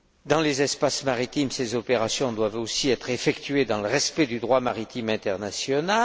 Dans les espaces maritimes, ces opérations doivent aussi être effectuées dans le respect du droit maritime international.